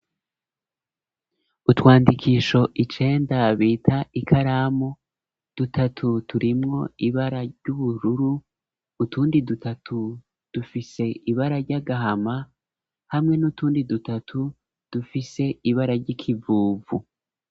Utwandikisho icenda bita ikaramu dutatu turimwo ibara ry'ubururu utundi dutatu dufise ibara ry'agahama hamwe n'utundi dutatu dufise ibara ry'ikivuvu.